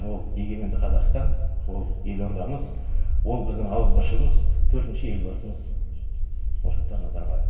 ол егеменді қазақстан ол елордамыз ол біздің ауызбіршілігіміз төртінші елбасымыз нұрсұлтан назарбаев